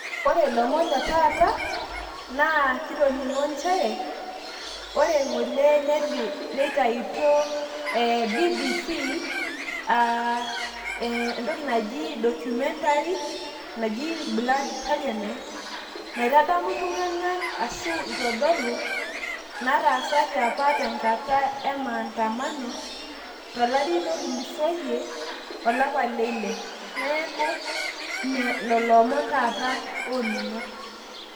Ore ilomon letaata naa kitoning`o nchere ore ng`ole neitayutuo BBC aa entoki naji documentary naji blood goverment. Naitadamu iltung`anak ashu itodolu nataasate apa tenkata e maandamano tolari lotulusoitie to lapa leile. Niaku lelo omon taata oonimg`o.